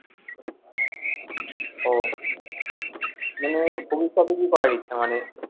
ওহ মানে ভবিষ্যতে কি করার ইচ্ছা মানে,